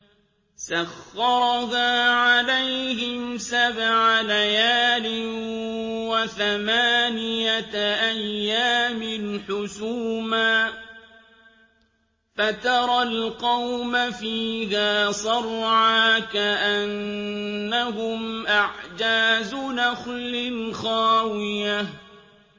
سَخَّرَهَا عَلَيْهِمْ سَبْعَ لَيَالٍ وَثَمَانِيَةَ أَيَّامٍ حُسُومًا فَتَرَى الْقَوْمَ فِيهَا صَرْعَىٰ كَأَنَّهُمْ أَعْجَازُ نَخْلٍ خَاوِيَةٍ